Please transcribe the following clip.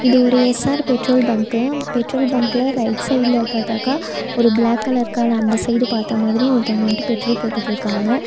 இது ஒரு S R petrol bunk petrol பங்க்ல ரைட் சைடுல பாத்தாக்கா ஒரு ப்ளாக் கலர் கார் அந்த சைடு பாத்த மாரி ஒருத்தவங்க வந்துட்டு பெட்ரோல் போட்டுட்டுருக்காங்க.